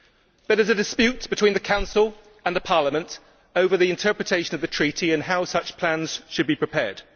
There is a dispute between the Council and Parliament over the interpretation of the Treaty and how such plans should be prepared.